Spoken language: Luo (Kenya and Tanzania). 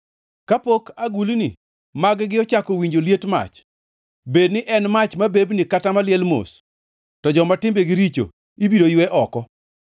Kapok agulni magi ochako winjo liet mach, bed ni en mach mabebni kata maliel mos, to joma timbegi richo ibiro ywe oko.